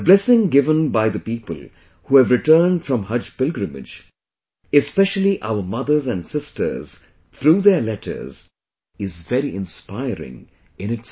The blessing given by the people who have returned from Haj pilgrimage, especially our mothers and sisters through their letters, is very inspiring in itself